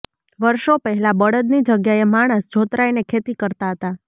વર્ષો પહેલા બળદની જગ્યાએ માણસ જોતરાઈને ખેતી કરતાં હતાં